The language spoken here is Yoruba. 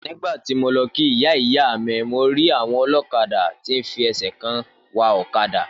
Nígbàtí mo lọ kí Ìyáìyámí mo rí àwọn olókadà tí fẹsẹ̀ kan wa ọ̀kadà.